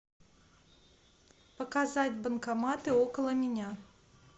показать банкоматы около меня